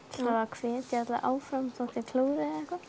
hvetja alla áfram þó þeir klúðri